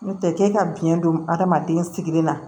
N'o tɛ k'e ka biyɛn don adamaden sigili la